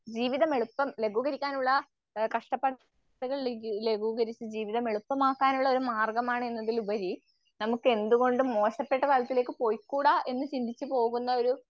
ജീവിതം എളുപ്പം ലഘൂകരിക്കാനുള്ള അഹ് കഷ്ട പാടുകൾ ലഘൂകരിച്ച് ജീവിതം എളുപ്പമാക്കാനുള്ളൊരു മാർഗ്ഗമാണെന്നതിലുപരി നമുക്ക് എന്തുകൊണ്ടും മോശപ്പെട്ട തലത്തിലേക്ക് പോയിക്കൂടാ എന്ന് ചിന്തിച്ചുപോകുന്നൊരു